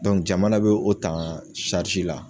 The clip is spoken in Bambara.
jamana bɛ o tan la.